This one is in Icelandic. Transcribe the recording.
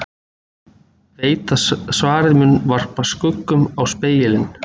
Veit að svarið mun varpa skugga á spegilinn.